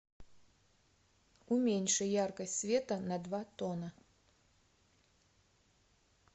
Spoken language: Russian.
уменьши яркость света на два тона